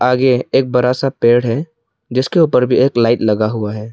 आगे एक बड़ा सा पेड़ है जिसके ऊपर भी एक लाइट लगा हुआ है।